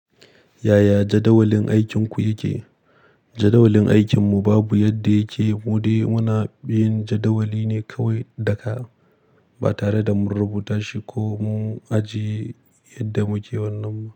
Yaya jadawalin aikinku yake? Jadawalin aikinmu babu yadda yake. Mu dai muna bin jadawali ne kawai da ka, ba tare da mun rubuta shi ko mun ajiye yadda muke wannan ba.